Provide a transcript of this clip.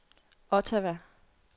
Ottawa